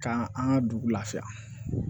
Ka an ka dugu lafiya